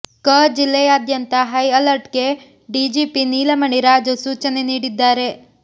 ಕ ಜಿಲ್ಲೆಯಾದ್ಯಂತ ಹೈ ಅಲರ್ಟ್ಗೆ ಡಿಜಿಪಿ ನೀಲಮಣಿ ರಾಜು ಸೂಚನೆ ನೀಡಿದ್ದಾರೆ